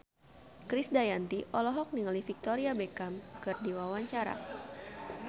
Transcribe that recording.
Krisdayanti olohok ningali Victoria Beckham keur diwawancara